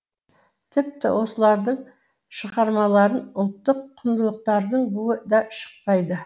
тіпті осылардың шығармаларын ұлттық кұндылықтардың буы да шықпайды